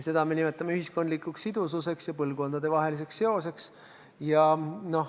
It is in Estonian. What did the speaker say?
Seda me nimetame ühiskondlikuks sidususeks ja põlvkondadevaheliseks seoseks.